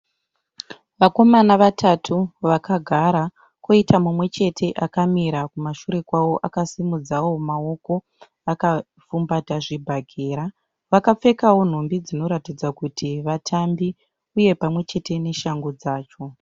Vakomana vatatu vakagara. Kwoita mumwe chete akamira kumashure kwavo akasimudzawo maoko akapfumbata zvibhakera. Vakapfekawo nhumbi dzinoratidza kuti vatambi uye pamwe chete neshangu dzacho.